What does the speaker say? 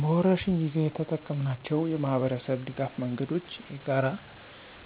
በወረርሽኝ ጊዜ የተጠቀምናቸው የማኅበረሰብ ድጋፍ መንገዶች የጋራ